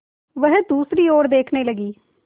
वह दूसरी ओर देखने लगी